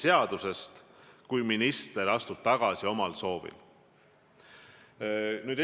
See tuleneb Vabariigi Valitsuse seadusest.